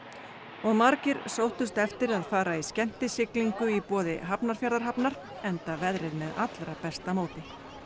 og margir sóttust eftir að fara í skemmtisiglingu í boði Hafnarfjarðarhafnar enda veðrið með allra besta móti